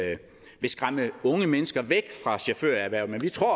skræmme unge mennesker væk fra chaufførerhvervet men vi tror